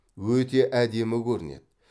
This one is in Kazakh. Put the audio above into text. өте әдемі көрінеді